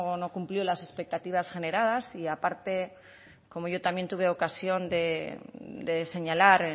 no cumplió las expectativas generadas y aparte como yo también tuve ocasión de señalar